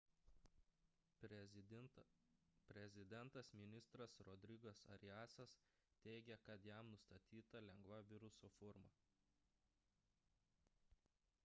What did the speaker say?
prezidentas-ministras rodrigas ariasas teiigė kad jam nustatyta lengva viruso forma